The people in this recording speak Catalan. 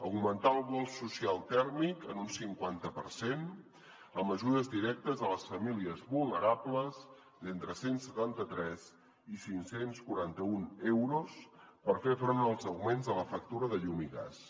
augmentar el bo social tèrmic en un cinquanta per cent amb ajudes directes a les famílies vulnerables d’entre cent i setanta tres i cinc cents i quaranta un euros per fer front als augments de la factura de llum i gas